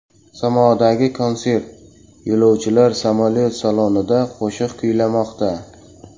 Samodagi konsert: yo‘lovchilar samolyot salonida qo‘shiq kuylamoqda .